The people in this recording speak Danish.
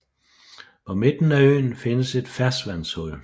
På midten af øen findes et ferskvandshul